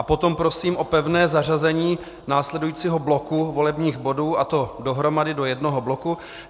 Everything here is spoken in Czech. A potom prosím o pevné zařazení následujícího bloku volebních bodů, a to dohromady do jednoho bloku.